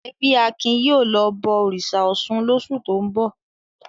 Ẹbí Akin yóò lọ bọ òrìṣà Ọ̀ṣun lóṣù tó ń bọ̀!